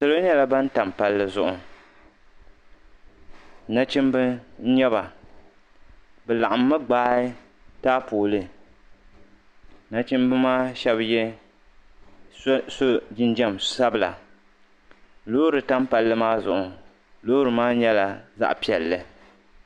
Salo nyɛla ban tam palli zuɣu nachimba n nyɛba bi laɣim mi gbaayi taapooli nachimba maa shɛba so jinjam sabila loori tam palli maa zuɣu loori maa nyɛla zaɣa piɛlli.